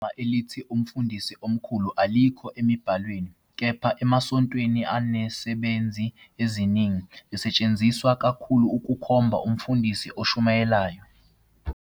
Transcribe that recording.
Igama elithi "Umfundisi Omkhulu" alikho emibhalweni, kepha - emasontweni anezisebenzi eziningi - lisetshenziswa kakhulu ukukhomba umfundisi oshumayelayo.